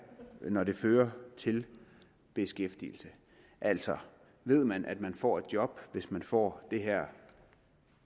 når det fører til beskæftigelse altså ved man at man får et job hvis man får det her